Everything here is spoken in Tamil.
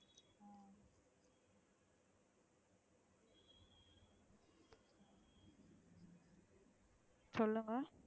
சொல்லுங்க.